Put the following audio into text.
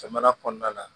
Jamana kɔnɔna na